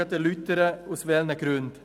Ich erläutere gleich aus welchen Gründen.